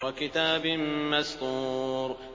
وَكِتَابٍ مَّسْطُورٍ